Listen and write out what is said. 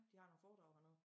De har nogen foredrag hernede